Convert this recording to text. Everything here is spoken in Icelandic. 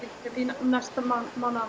næstu